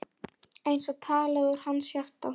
Eins og talað úr hans hjarta.